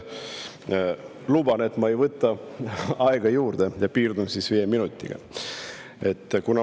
Ma luban, et ma ei võta aega juurde ja piirdun viie minutiga.